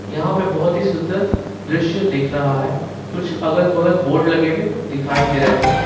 यहां पे बहोत ही सुंदर दृश्य दिख रहा है कुछ अगल बगल बोर्ड लगे हुए दिखाई दे रहे हैं।